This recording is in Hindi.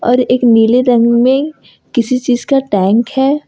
और एक नीले रंग में किसी चीज का टैंक है।